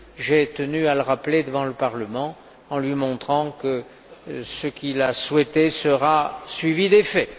J'ai tenu à le rappeler devant le Parlement en lui montrant que ce qu'il a souhaité sera suivi d'effet.